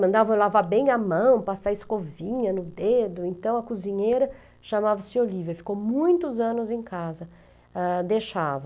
Mandavam lavar bem a mão, passar escovinha no dedo, então a cozinheira chamava-se Olivia, ficou muitos anos em casa, ah, deixava.